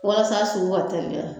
Walasa a sugu ka teliya